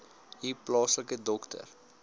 u plaaslike dokter